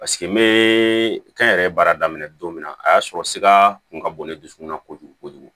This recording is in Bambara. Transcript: Paseke n bɛ kɛnyɛrɛye baara daminɛ don min na a y'a sɔrɔ sira kun ka bon ne dusukun na kojugu kojugu